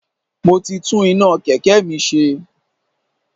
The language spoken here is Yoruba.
Mo ti tún iná Kẹ̀kẹ́ mi ṣe.